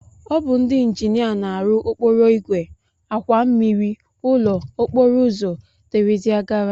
Ọ bụ ndị injinia na-arụ okporoigwe, àkwà mmmiri, ụlọ, okporoụzọ dgz.